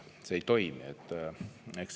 See ei toimi.